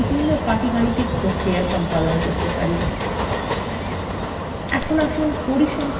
একইভাবে আমরা calcwe বিভিন্ন পাটিগাণিতিক প্রক্রিয়া সম্পাদন করতে পারি